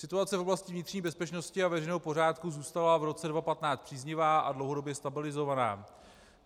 Situace v oblasti vnitřní bezpečnosti a veřejného pořádku zůstala v roce 2015 příznivá a dlouhodobě stabilizovaná.